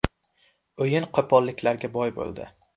O‘yin qo‘polliklarga boy bo‘ldi.